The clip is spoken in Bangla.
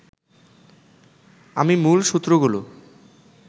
আমি মূল সূত্রগুলো